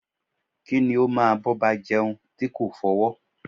Kí ni o máa bọba jeun ti ko fọwọ́?